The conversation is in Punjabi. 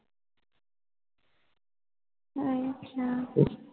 ਸਹੀ ਕਯਾ